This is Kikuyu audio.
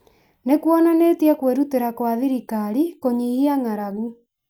nĩ kuonanĩtie kwĩrutĩra kwa thirikari kũnyihia ng'aragu